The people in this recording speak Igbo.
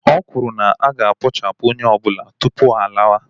O kwuru na aga ekpochapụ onye ọbụla tupu ha alawa